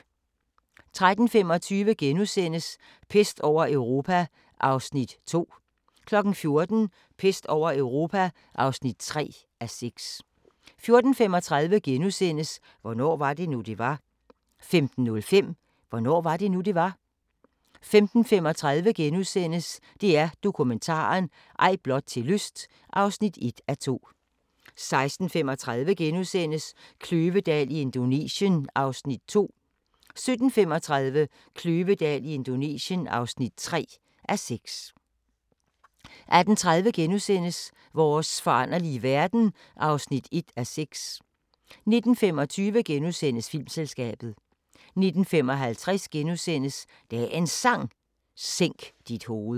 13:25: Pest over Europa (2:6)* 14:00: Pest over Europa (3:6) 14:35: Hvornår var det nu, det var? * 15:05: Hvornår var det nu, det var? 15:35: DR Dokumentaren – Ej blot til lyst (1:2)* 16:35: Kløvedal i Indonesien (2:6)* 17:35: Kløvedal i Indonesien (3:6) 18:30: Vores foranderlige verden (1:6)* 19:25: Filmselskabet * 19:55: Dagens Sang: Sænk dit hoved *